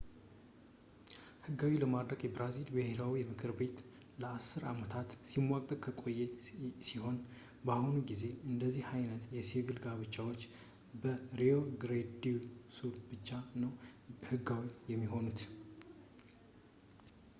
ሕጋዊ ለማድረግም የብራዚል ብሔራዊ ምክር ቤት ለ10 አመታት ሲሟገት የቆየ ሲሆን፣ በአሁኑ ጊዜ አንደዚህ ዓይነት የሲቪል ጋብቻዎች በrio grande do sul ብቻ ነው ሕጋዊ የሆኑት